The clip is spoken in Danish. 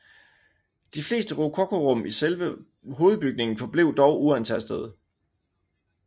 De fleste rokokorum i selve hovedbygningen forblev dog uantastede